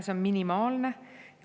See on minimaalne.